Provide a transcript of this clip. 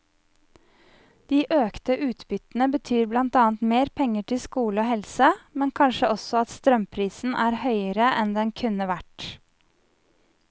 De økte utbyttene betyr blant annet mer penger til skole og helse, men kanskje også at strømprisen er høyere enn den kunne vært.